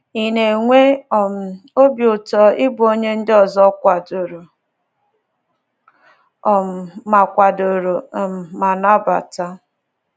Ị̀ na-enwe um obi ụtọ ịbụ onye ndị ọzọ kwadoro um ma kwadoro um ma nabata?